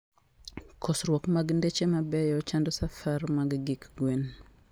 Kosruok mag ndeche mabeyo chando safar mag gik gwen